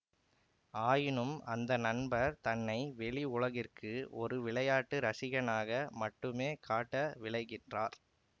ஆயினும் அந்த நண்பர் தன்னை வெளி உலகிற்கு ஒரு விளையாட்டு இரசிகனாக மட்டுமே காட்ட விழைகின்றார்